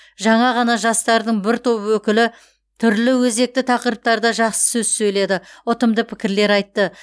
жаңа ғана жастардың бір топ өкілі түрлі өзекті тақырыптарда жақсы сөз сөйледі ұтымды пікірлер айтты